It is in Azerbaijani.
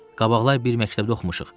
Qabaqlar bir məktəbdə oxumuşuq.